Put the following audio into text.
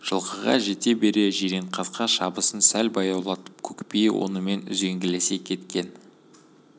жылқыға жете бере жиренқасқа шабысын сәл баяулатып көкбие онымен үзеңгілесе берген